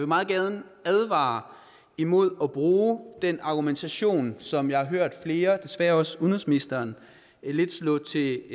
meget gerne advare imod at bruge den argumentation som jeg har hørt flere og desværre også udenrigsministeren lidt slå til